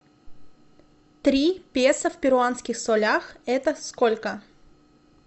три песо в перуанских солях это сколько